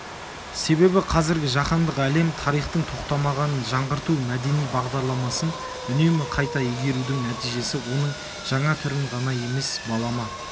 себебі қазіргі жаһандық әлем тарихтың тоқтамағанын жаңғырту мәдени бағдарламасын үнемі қайта игерудің нәтижесі оның жаңа түрін ғана емес балама